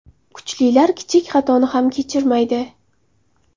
Kuchlilar kichik xatoni ham kechirmaydi.